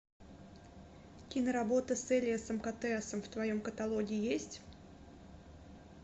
киноработа с элиасом котеасом в твоем каталоге есть